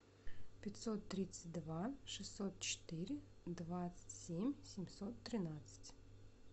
пятьсот тридцать два шестьсот четыре двадцать семь семьсот тринадцать